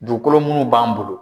Dugukolo munnu b'an bolo.